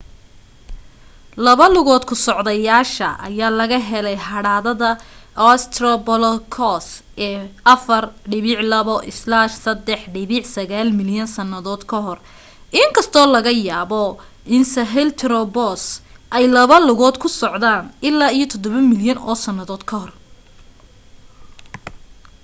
laba lugood ku socdayaasha ayaa laga helay hadhaada australopithecus ee 4.2-3.9 milyan sannadood ka hor in kastoo laga yaabo in sahelanthropus ay laba lugood ku socdeen ilaa iyo 7 milyan oo sannadood ka hor